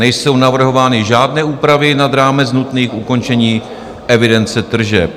Nejsou navrhovány žádné úpravy nad rámec nutných k ukončení evidence tržeb.